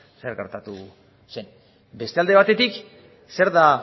zer gertatu zen beste alde batetik zer da